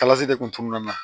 Kalasi de kun tununa